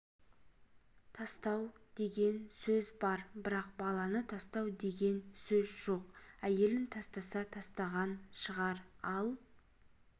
тастау деген сөз бар бірақ баланы тастау деген сөз жоқ әйелін тастаса тастаған шығар ал